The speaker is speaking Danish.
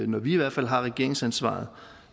når vi i hvert fald har regeringsansvaret